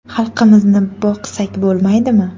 Xalqimizni boqsak bo‘lmaydimi?